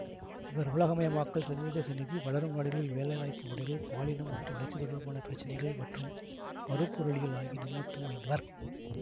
இவர் உலகமயமாக்கல் சர்வதேச நிதி வளரும் நாடுகளில் வேலை வாய்ப்பு முறைகள் பாலினம் மற்றும் வளர்ச்சி தொடர்பான பிரச்சினைகள் மற்றும் பருப்பொருளியல் ஆகிய நிபுணத்துவம் வாய்ந்தவர்